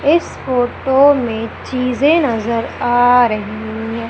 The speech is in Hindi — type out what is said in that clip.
इस फोटो में चीजे नजर आ रही हैं।